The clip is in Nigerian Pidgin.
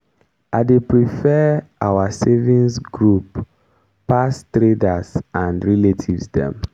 i dey prefer our savigns group pass traders and relatives dem.